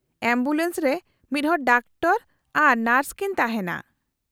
-Ambulance ᱨᱮ ᱢᱤᱫᱦᱚᱲ doctor ᱟᱨ ᱱᱟᱨᱥ ᱠᱤᱱ ᱛᱟᱦᱮᱱᱟ ᱾